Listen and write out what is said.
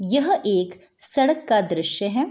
यह एक सड़क का दृश्य है।